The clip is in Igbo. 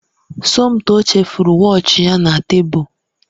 Somtoo chefuru wọọchi ya na tebụl